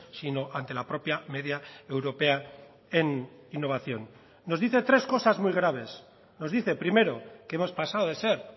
sino ante la propia media europea en innovación nos dice tres cosas muy graves nos dice primero que hemos pasado de ser